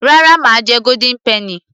rárá mà á jẹ golden penny